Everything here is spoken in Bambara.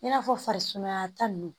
I n'a fɔ farisumaya ta ninnu